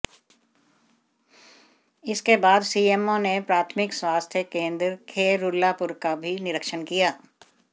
इसके बाद सीएमओ ने प्राथमिक स्वास्थ्य केंद्र खैरुल्लापुर का भी निरीक्षण किया